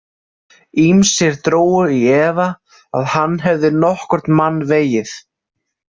Ýmsir drógu í efa að hann hefði nokkurn mann vegið.